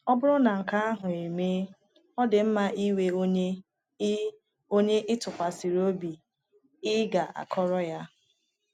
Ọ bụrụ na nke ahụ emee, ọ dị mma inwe onye ị onye ị tụkwasara obi ị ga - akọrọ ya.